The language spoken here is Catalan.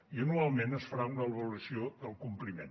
i anualment es farà una avaluació del compliment